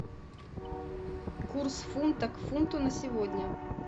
курс фунта к фунту на сегодня